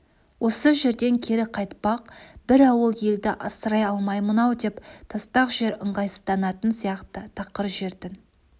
осы жерден кері қайтпақ бір ауыл елді асырай алмаймын-ау деп тастақ жер ыңғайсызданатын сияқты тақыр жердің